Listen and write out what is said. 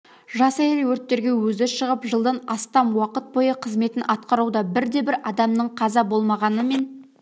жас әйел өрттерге өзі шығып жылдан астам уақыт бойы қызметін атқаруда бірде-бір адамның қаза болмағаныммен